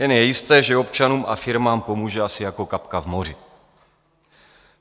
Jen je jisté, že občanům a firmám pomůže asi jako kapka v moři.